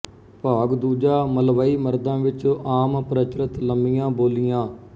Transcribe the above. ਭਾਗ ਦੂਜਾ ਮਲਵਈ ਮਰਦਾਂ ਵਿੱਚ ਆਮ ਪ੍ਰਚਲਤ ਲੰਮੀਆ ਬੋਲੀਆਂ